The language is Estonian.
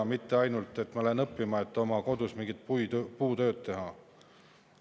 Ei saa olla ainult nii, et ma lähen õppima selleks, et pärast oma kodus mingit puutööd teha.